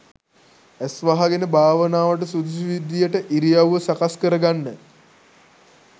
ඇස් වහගෙන භාවනාවට සුදුසු විදිහට ඉරියව්ව සකස් කරගන්න